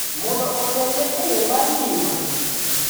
mondo otelne e yo mar ngima .